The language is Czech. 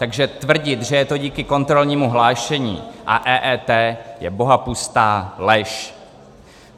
Takže tvrdit, že je to díky kontrolnímu hlášení a EET, je bohapustá lež.